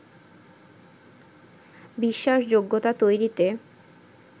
বিশ্বাসযোগ্যতা তৈরিতে